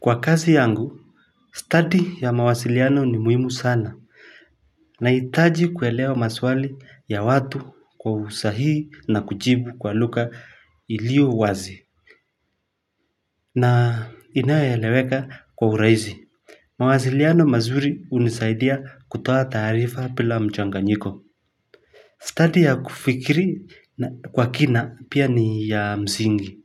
Kwa kazi yangu, stadi wa mawasiliano ni muhimu sana Nahitaji kuelewa maswali ya watu kwa usahihi na kujibu kwa lugha iliowazi na inayoeleweka kwa urahisi mawasiliano mazuri hunisaidia kutoa taarifa bila mchanganyiko stadi ya kufikiri kwa kina pia ni ya msingi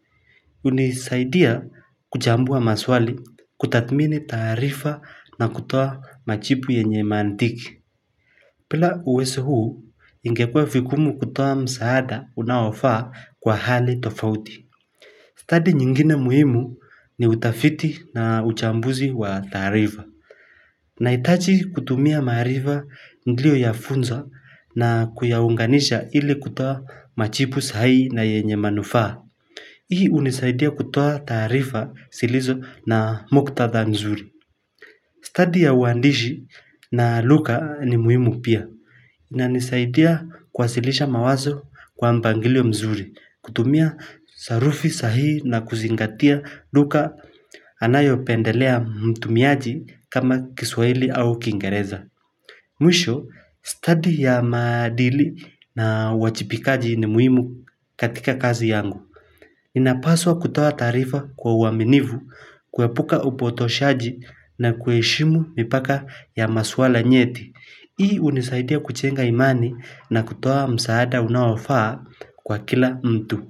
hunisaidia kuchambua maswali, kutathmini taarifa na kutoa majibu yenye mantiki bila uwezo huu ingekuwa vigumu kutoa msaada unaofaa kwa hali tofauti stadi nyingine muhimu ni utafiti na uchambuzi wa taarifa Nahitaji kutumia maarifa niliyoyafunza na kuyaunganisha ili kutoa majibu sahihi na yenye manufaa Hii hunisaidia kutoa taarifa zilizo na muktadha nzuri stadi ya uandishi na lugha ni muhimu pia inanisaidia kuwasilisha mawazo kwa mpangilio mzuri kutumia sarufi sahihi na kuzingatia lugha anayopendelea mtumiaji kama kiswahili au kiingereza Mwisho stadi ya maadili na uwajibikaji ni muhimu katika kazi yangu inapaswa kutoa taarifa kwa uaminifu, kuepuka upotoshaji na kuheshimu mipaka ya maswala nyeti. Hii hunisaidia kujenga imani na kutoa msaada unaofaa kwa kila mtu.